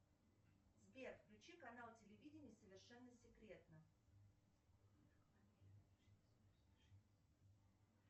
сбер включи канал телевидения совершенно секретно